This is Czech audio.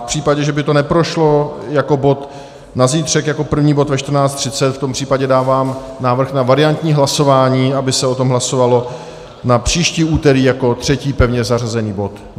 V případě, že by to neprošlo jako bod na zítřek jako první bod ve 14.30, v tom případě dávám návrh na variantní hlasování, aby se o tom hlasovalo, na příští úterý jako třetí pevně zařazený bod.